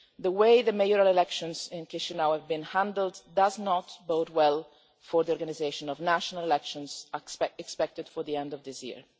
The way the mayoral elections in Chișinău have been handled does not bode well for the organisation of the national elections expected at the end of this year.